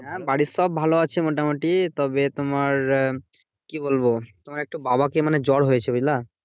হ্যাঁ বাড়ির সব ভালো আছে মোটামুটি। তবে তোমার উম কি বলবো? আমার একটু বাবাকে মানে জ্বর হয়েছে বুঝলা?